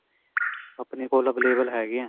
ਆਪਣੇ ਕੋਲ available ਹੈਗੇ ਹੈ.